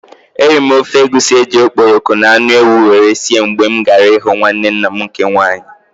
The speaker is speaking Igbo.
I ate egusi soup prepared with stock fish and goat meat when I visited my aunt.